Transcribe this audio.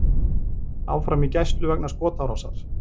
Áfram í gæslu vegna skotárásar